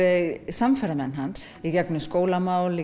samferðarmenn hans í gegnum skólamál